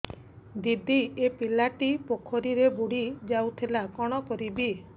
ଦିଦି ଏ ପିଲାଟି ପୋଖରୀରେ ବୁଡ଼ି ଯାଉଥିଲା କଣ କରିବି